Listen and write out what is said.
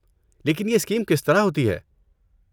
لیکن یہ اسکیم کس طرح ہوتی ہے؟